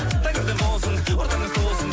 тәңірден болсын ортамыз толсын